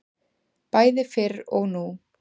Bæði fyrr og nú.